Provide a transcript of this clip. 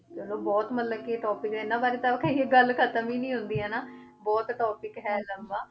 ਚਲੋ ਬਹੁਤ ਮਤਲਬ ਕਿ topic ਇਹਨਾਂ ਬਾਰੇ ਤਾਂ ਕਹੀਏ ਗੱਲ ਖ਼ਤਮ ਹੀ ਨੀ ਹੁੰਦੀ ਹਨਾ, ਬਹੁਤ topic ਹੈ ਲੰਬਾ